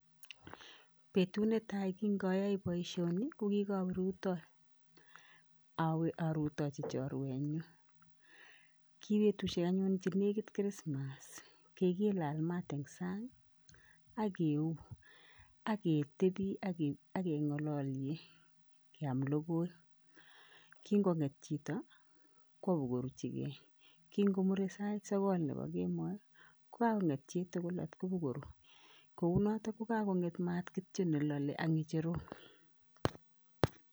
Betut netai kinkayoe boisioni, ko kikawe rutoi. Awe arutochi chorwenyu. Ki betushek anyun chenekit christmas kikilal mat eng sang ak keu ak ketebi ak keng'alolye keam logoi. Kinkong'et chito kwo koruchikei. Kinkomure sait sokol nepo kemoi, kokakong'et chitugul at kopa koru kounoto kokakong'et mat kityo nelole ak ng'echerok.